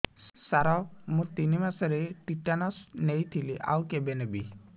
ସାର ମୁ ତିନି ମାସରେ ଟିଟାନସ ନେଇଥିଲି ଆଉ କେବେ ନେବି